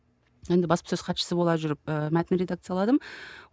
енді баспасөз хатшысы бола жүріп ы мәтін редақцияладым